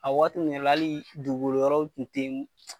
A waati nn yɛrɛ la halii dugukolo yɔrɔw tun te